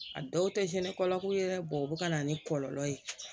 A dɔw tɛ cɛn ni kɔlɔlɔ ye dɛ o bɛ ka na ni kɔlɔlɔ ye